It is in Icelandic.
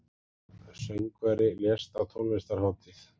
Söngvari lést á tónlistarhátíð